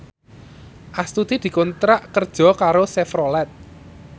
Astuti dikontrak kerja karo Chevrolet